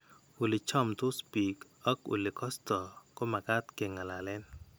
Ole chamndos biik ak ole kosto ko makaat ke ng'alalen.